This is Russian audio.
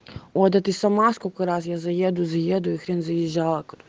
о да ты сама сколько раз я заеду заеду и хрен заезжала